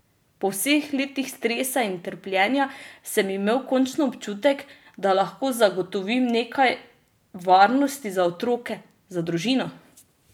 Po vseh letih stresa in trpljenja sem imel končno občutek, da lahko zagotovim nekaj varnosti za otroke, za družino!